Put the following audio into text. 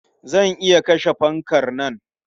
Zan iya kashe fankar nan.